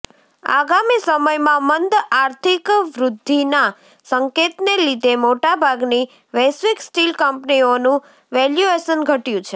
આગામી સમયમાં મંદ આર્થિક વૃદ્ધિના સંકેતને લીધે મોટા ભાગની વૈશ્વિક સ્ટીલ કંપનીઓનું વેલ્યુએશન ઘટ્યું છે